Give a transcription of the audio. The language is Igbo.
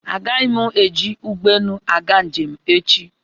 Agaghị m eji ụgbọelu aga njem echi.